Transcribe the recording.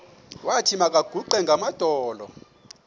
wathi makaguqe ngamadolo